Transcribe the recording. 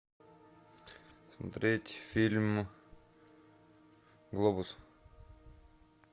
смотреть фильм глобус